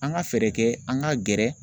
An ka fɛɛrɛ kɛ an ka gɛrɛ